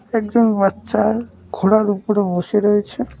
একজন বাচ্চা ঘোড়ার উপরে বসে রয়েছে।